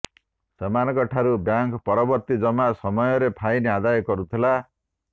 ସେମାନଙ୍କ ଠାରୁ ବ୍ୟାଙ୍କ ପରବର୍ତ୍ତୀ ଜମା ସମୟରେ ଫାଇନ ଆଦାୟ କରୁଥିଲା